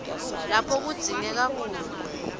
lapho kudzingeka khona